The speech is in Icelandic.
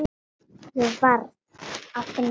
Ég varð að finna hann.